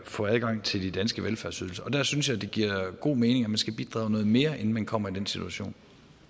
få adgang til de danske velfærdsydelser og der synes jeg det giver god mening at man skal bidrage noget mere inden man kommer i den situation